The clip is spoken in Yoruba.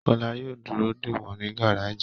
Kọ́lá yóò dúró dè wọ́n ní gáràjì